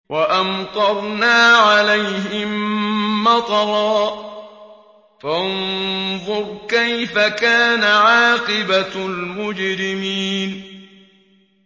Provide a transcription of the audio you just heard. وَأَمْطَرْنَا عَلَيْهِم مَّطَرًا ۖ فَانظُرْ كَيْفَ كَانَ عَاقِبَةُ الْمُجْرِمِينَ